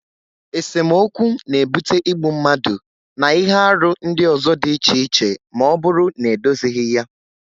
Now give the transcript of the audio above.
Esemokwu n'ebute igbu mmadụ na ihe arụ ndị ọzọ dị iche iche ma ọ bụrụ na edozighi ya